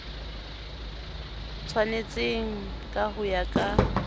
tshwanetseng ka ho ya ka